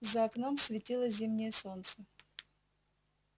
за окном светило зимнее солнце